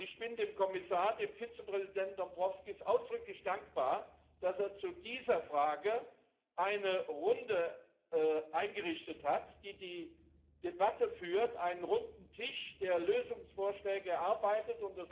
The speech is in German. Ich bin dem Kommissar, dem Vizepräsidenten Dombrovskis ausdrücklich dankbar, dass er zu dieser Frage eine Runde eingerichtet hat, die die Debatte führt, einen runden Tisch, der Lösungsvorschläge erarbeitet.